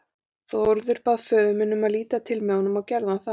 Þórður bað þá föður minn um að líta til með honum og gerði hann það.